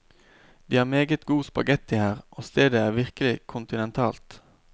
De har meget god spaghetti her, og stedet er virkelig kontinentalt.